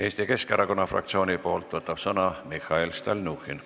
Eesti Keskerakonna fraktsiooni nimel võtab sõna Mihhail Stalnuhhin.